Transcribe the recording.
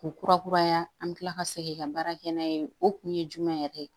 K'u kura kuraya an bɛ tila ka segin ka baara kɛ n'a ye o kun ye jumɛn yɛrɛ ye